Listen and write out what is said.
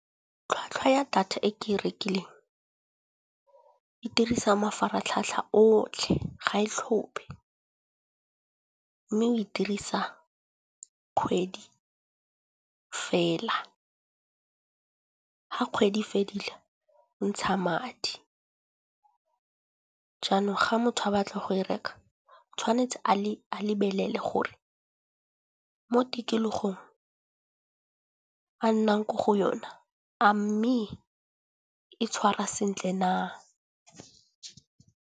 Tlhwatlhwa ya data e ke e rekileng e dirisa mafaratlhatlha otlhe ga e tlhophe, mme we dirisa kgwedi fela. Ga kgwedi e fedile o ntsha madi, jaanong ga motho a batla go e reka tshwanetse a lebelele gore mo tikologong a nnang ko go yona a mme e tshwara sentle na.